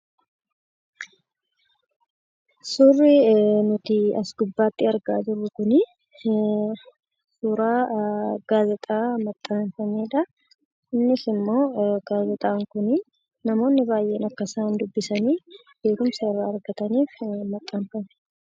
Suurri nuti as gubbaatti argaa jirru kun suuraa gaazexaa maxxanfamedha. Innisimmoo gaazexaan kun namoonni baayyeen akka isaan dubbisaniif, beekumsa irraa argataniif maxxanfame.